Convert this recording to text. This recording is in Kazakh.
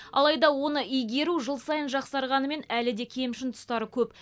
алайда оны игеру жыл сайын жақсарғанымен әлі де кемшін тұстары көп